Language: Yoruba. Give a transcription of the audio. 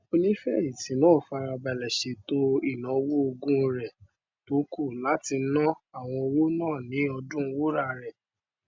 onífẹyìntì náà fara balẹ ṣètò ìnáwó ogún rẹ tó kù láti na àwọn owó náà ní ọdún wúrà rẹ